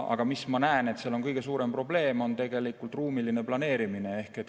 Aga ma näen, et seal on kõige suurem probleem tegelikult ruumiline planeerimine.